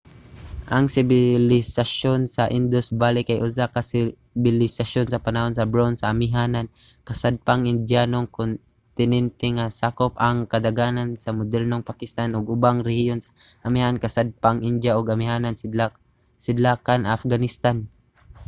ang sibilisasyon sa indus valley kay usa ka sibilisasyon sa panahon sa bronse sa amihanan-kasadpang indiyanong kontinente nga sakop ang kadaghanan sa modernong pakistan ug ubang rehiyon sa amihanan-kasadpang india ug amihanan-sidlakan afghanistan